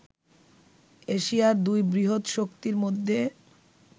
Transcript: এশিয়ার দুই বৃহৎ শক্তির মধ্যে